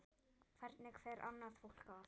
Hvernig fer annað fólk að?